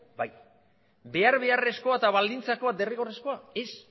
bai behar beharrezkoa eta baldintzakoa derrigorrezkoa ez